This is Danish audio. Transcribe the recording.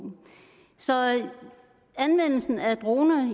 så anvendelsen af droner